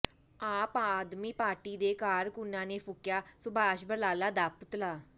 ਆਪ ਆਦਮੀ ਪਾਰਟੀ ਦੇ ਕਾਰਕੁਨਾਂ ਨੇ ਫੂਕਿਆ ਸੁਭਾਸ਼ ਬਰਾਲਾ ਦਾ ਪੁਤਲਾ